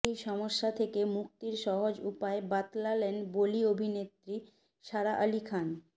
এই সমস্যা থেকে মুক্তির সহজ উপায় বাতলালেন বলি অভিনেত্রী সারা আলি খান